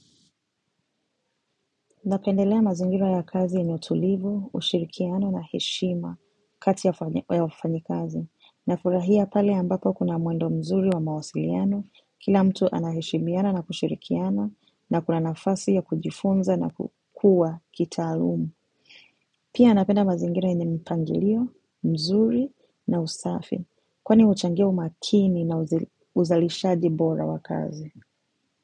Napendelea mazingira ya kazi yenye utulivu, ushirikiano na heshima kati ya wafanyikazi. Nafurahia pale ambapo kuna mwendo mzuri wa mawasiliano, kila mtu anaheshimiana na kushirikiana na kuna nafasi ya kujifunza na kukua kitaalumu. Pia napenda mazingira yenye mpangilio, mzuri na usafi kwani huchangia umakini na uzalishaji bora wa kazi.